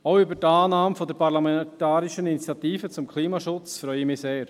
Auch über die Annahme der parlamentarischen Initiative zum Klimaschutz freue ich mich sehr.